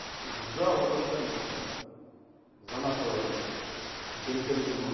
сдал лукашенко за нашего горячо любимого